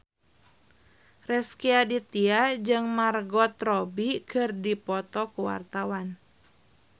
Rezky Aditya jeung Margot Robbie keur dipoto ku wartawan